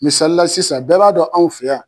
Misalila sisan bɛɛ b'a dɔn anw fɛ yan